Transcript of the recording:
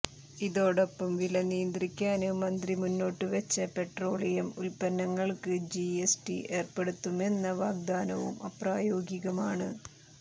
ഇതോടൊപ്പം വില നിയന്ത്രിക്കാന് മന്ത്രി മുന്നോട്ടുവെച്ച പെട്രോളിയം ഉത്പന്നങ്ങള്ക്ക് ജി എസ് ടി ഏര്പ്പെടുത്തുമെന്ന വാഗ്ദാനവും അപ്രായോഗികമാണ്